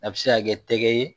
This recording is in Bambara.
A bɛ se ka kɛ tɛgɛ ye